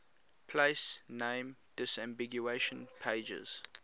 place name disambiguation pages